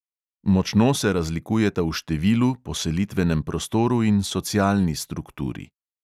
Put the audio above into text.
Močno se razlikujeta v številu, poselitvenem prostoru in socialni strukturi.